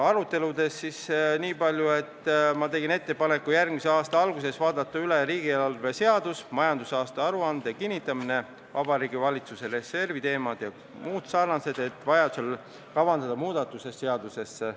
Aruteludest nii palju, et ma tegin ettepaneku järgmise aasta alguses vaadata üle riigieelarve seadus, majandusaasta aruande kinnitamine, Vabariigi Valitsuse reservi teemad jms, et vajaduse korral kavandada muudatused seadusesse.